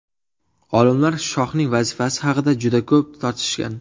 Olimlar shoxning vazifasi haqida juda ko‘p tortishgan.